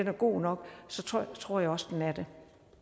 er god nok tror jeg også den er det